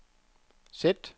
sæt